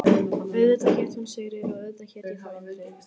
Auðvitað hét hún Sigríður og auðvitað hét ég þá Indriði.